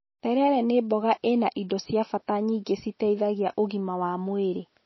Terere nĩ mboga ĩna indo cia bata nyingĩ citeithagia ũgima wa mwĩrĩ